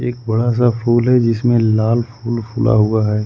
बड़ा सा फूल है जिसमें लाल फूल खुला हुआ है।